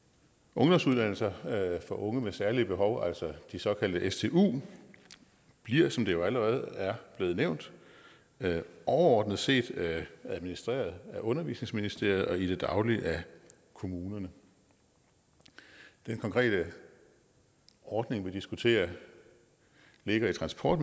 ungdomsuddannelser for unge med særlige behov de såkaldte stu bliver som det allerede er blevet nævnt overordnet set administreret af undervisningsministeriet og i det daglige af kommunerne den konkrete ordning vi diskuterer ligger i transport